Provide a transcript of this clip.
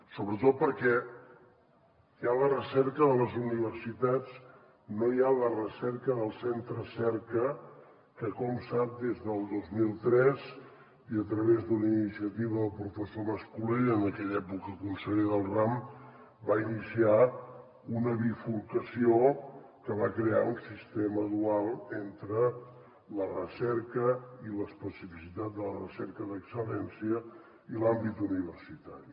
sobretot perquè hi ha la recerca de les universitats no hi ha la recerca dels centres cerca que com sap des del dos mil tres i a través d’una iniciativa del professor mas colell en aquella època conseller del ram va iniciar una bifurcació que va crear un sistema dual entre la recerca i l’especificitat de la recerca d’excel·lència i l’àmbit universitari